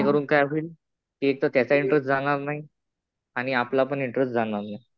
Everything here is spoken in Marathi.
जेणेकरून काय होईल एकतर त्याचा इंटरेस्ट जाणार नाही आणि आपला पण इंटरेस्ट जाणार नाही.